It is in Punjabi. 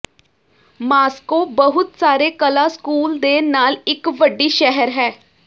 ਮਾਸ੍ਕੋ ਬਹੁਤ ਸਾਰੇ ਕਲਾ ਸਕੂਲ ਦੇ ਨਾਲ ਇੱਕ ਵੱਡੀ ਸ਼ਹਿਰ ਹੈ